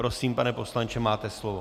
Prosím, pane poslanče, máte slovo.